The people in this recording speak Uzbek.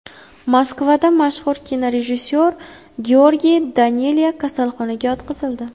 Moskvada mashhur kinorejissyor Georgiy Daneliya kasalxonaga yotqizildi.